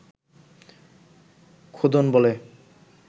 খোদন বলে